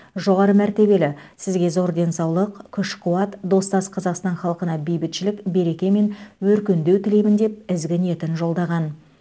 жоғары мәртебелі сізге зор денсаулық күш қуат достас қазақстан халқына бейбітшілік береке мен өркендеу тілеймін деп ізгі ниетін жолдаған